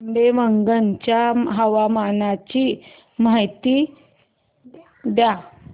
आंबेवंगन च्या हवामानाची माहिती द्या